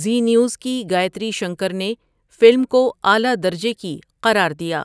زی News کی گایتری شنکر نے film کو 'اعلیٰ درجے کی' قرار دیا